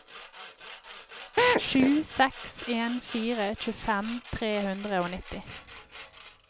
sju seks en fire tjuefem tre hundre og nitti